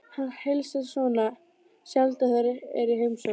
Hann heilsar Svenna sjaldan þegar hann er í heimsókn hjá